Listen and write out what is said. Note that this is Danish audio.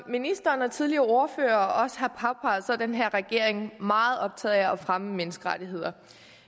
ministeren og tidligere ordførere også har påpeget er den her regering meget optaget af at fremme menneskerettigheder